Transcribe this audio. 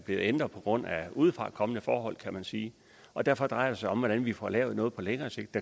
ændret på grund af udefrakommende forhold kan man sige og derfor drejer det sig om hvordan vi får lavet noget på længere sigt